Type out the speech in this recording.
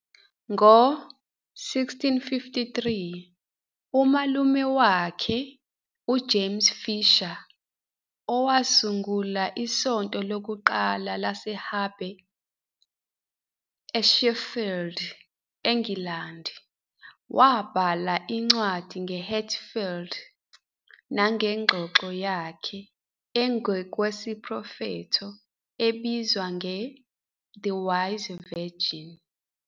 Ngo-1653, umalume wakhe, uJames Fisher, owasungula isonto lokuqala laseHabe eSheffield, eNgilandi, wabhala incwadi ngeHatfield nangengxoxo yakhe engokwesiprofetho ebizwa nge- "The Wise Virgin."